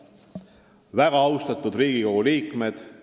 Väga austatud Riigikogu liikmed!